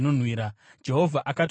Jehovha akati kuna Mozisi,